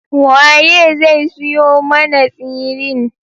Waye zai siyo mana tsirin?